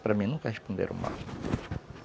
Para mim, nunca responderam mal.